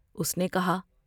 اس نے کہا ۔